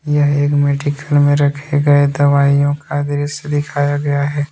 यह एक मेडिकल में रखे गए दवाईयों का दृश्य दिखाया गया हैं।